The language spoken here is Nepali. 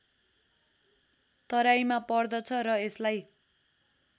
तराईमा पर्दछ र यसलाई